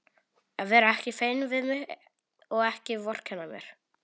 Að vera ekki feiminn við mig og ekki vorkenna mér!